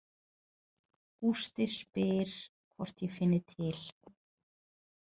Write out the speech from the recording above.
Gústi spyr hvort ég finni til.